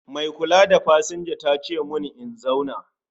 Mai kula da pasanja tace mun in zauna